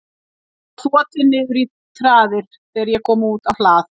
Hann var þotinn niður í traðir þegar ég kom út á hlað.